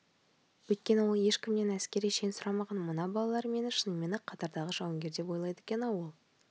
өйткені ол ешкімнен әскери шен сұрамаған мына балалар мені шынымен-ақ қатардағы жауынгер деп ойлайды екен-ау ол